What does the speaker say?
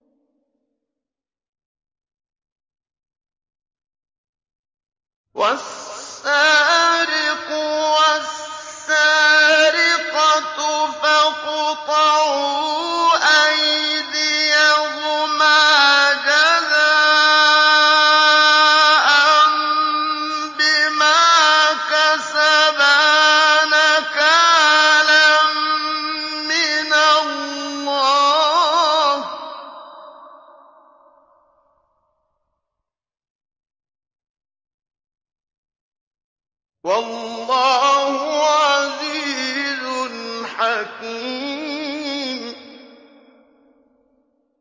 وَالسَّارِقُ وَالسَّارِقَةُ فَاقْطَعُوا أَيْدِيَهُمَا جَزَاءً بِمَا كَسَبَا نَكَالًا مِّنَ اللَّهِ ۗ وَاللَّهُ عَزِيزٌ حَكِيمٌ